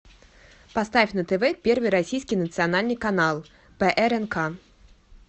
поставь на тв первый российский национальный канал прнк